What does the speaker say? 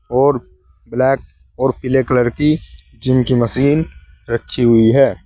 और ब्लैक और पीले कलर की जिम की मशीन रखी हुई है।